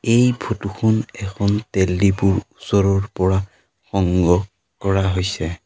এই ফটো খন এখন তেল ডিপোৰ ওচৰৰ পৰা সংগ্ৰহ কৰা হৈছে।